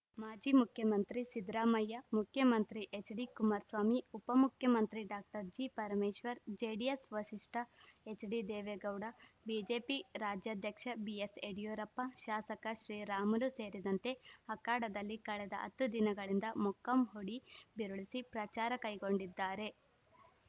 ಮಾಜಿ ಮುಖ್ಯಮಂತ್ರಿ ಸಿದ್ದರಾಮಯ್ಯ ಮುಖ್ಯಮಂತ್ರಿ ಎಚ್‌ಡಿಕುಮಾರಸ್ವಾಮಿ ಉಪಮುಖ್ಯಮಂತ್ರಿ ಡಾಕ್ಟರ್ ಜಿಪರಮೇಶ್ವರ್‌ ಜೆಡಿಎಸ್‌ ವರಿಷ್ಠ ಎಚ್‌ಡಿದೇವೇಗೌಡ ಬಿಜೆಪಿ ರಾಜ್ಯಾಧ್ಯಕ್ಷ ಬಿಎಸ್‌ಯಡಿಯೂರಪ್ಪ ಶಾಸಕ ಶ್ರೀರಾಮುಲು ಸೇರಿದಂತೆ ಅಖಾಡದಲ್ಲಿ ಕಳೆದ ಹತ್ತು ದಿನಗಳಿಂದ ಮೊಕ್ಕಾಂ ಹೂಡಿ ಬಿರುಸಿ ಪ್ರಚಾರ ಕೈಗೊಂಡಿದ್ದಾರೆ